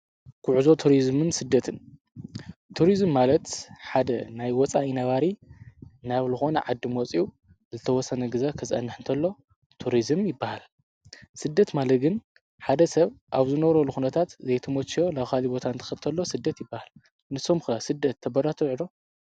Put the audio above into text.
ጕዕዞ ቱርስምን ስደትን ቱርዝም ማለት ሓደ ናይ ወፃ ኢነባሪ ናብ ልኾነ ዓዲ መፂው ዝተወሰነ ግዘ ኽዘኣንሕ እንተሎ ቱርስም ይበሃል። ሥደት ማለግን ሓደ ሰብ ኣብዝነሮ ልኹነታት ዘይተሞችዮ ላውኻሊ ቦታን ተኽብተሎ ስደት ይበሃል ንሶም ክና ሥደት ተበራተውዕዶ